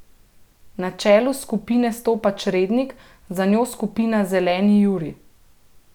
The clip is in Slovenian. Na čelu skupine stopa črednik, za njo skupina Zeleni Jurij.